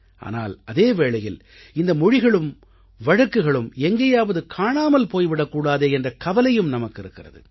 ஆனால் அதே வேளையில் இந்த மொழிகளும் வழக்குகளும் எங்கேயாவது காணாமல் போய் விடக்கூடாதே என்ற கவலையும் நமக்கிருக்கிறது